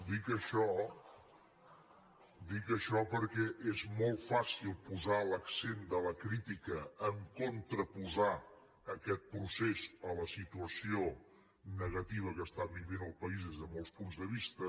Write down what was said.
dic això dic això perquè és molt fàcil posar l’accent de la crítica a contraposar aquest procés a la situació negativa que està vivint el país des de molts punts de vista